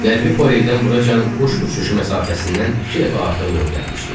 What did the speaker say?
Qərbi Poleytdən buracan quş uçuşu məsafəsindən iki dəfə artıq yol gəlmişdik.